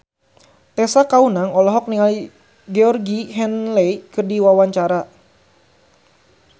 Tessa Kaunang olohok ningali Georgie Henley keur diwawancara